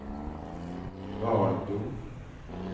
Valbo